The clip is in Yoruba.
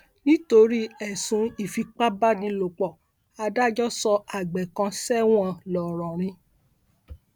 nítorí ẹsùn ìfipábánilòpọ adájọ sọ àgbẹ kan sẹwọn ńlọrọrìn